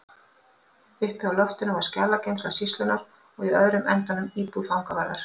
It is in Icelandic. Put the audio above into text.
Uppi á loftinu var skjalageymsla sýslunnar og í öðrum endanum íbúð fangavarðar.